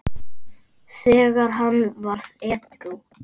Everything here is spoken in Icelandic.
þegar hann varð edrú.